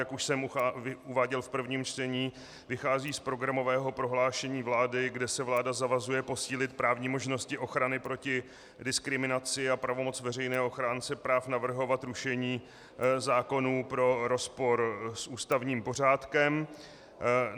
Jak už jsem uváděl v prvním čtení, vychází z programového prohlášení vlády, kde se vláda zavazuje posílit právní možnosti ochrany proti diskriminaci a pravomoc veřejného ochránce práv navrhovat rušení zákonů pro rozpor s ústavním pořádkem.